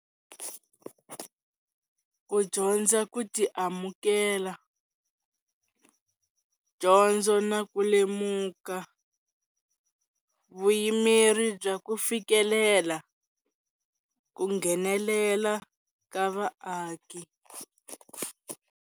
Ku dyondza ku ti amukela, dyondzo na ku lemuka, vuyimeri bya ku fikelela, ku nghenelela ka vaaki.